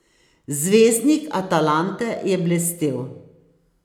Zvezdnik Atalante je blestel.